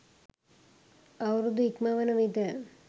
අවුරුදු ඉක්මවන විට